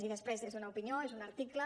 i després és una opinió és un article